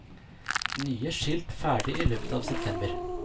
Nye skilt ferdig i løpet av september.